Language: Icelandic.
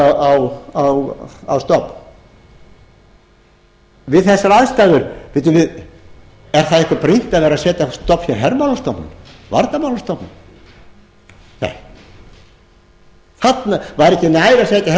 að setja á stofn við þessar aðstæður bíddu við er það eitthvað brýnt að vera að segja á stofn hér hermálastofnun varnarmálastofnun nei væri ekki nær að setja þessa